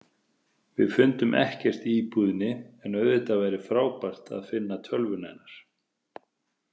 Við fundum ekkert í íbúðinni en auðvitað væri frábært að finna tölvuna hennar.